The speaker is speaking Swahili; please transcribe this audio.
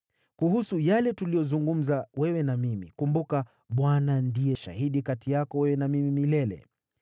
Kuhusu yale tuliyozungumza wewe na mimi: kumbuka, Bwana ndiye shahidi kati yako wewe na mimi milele.”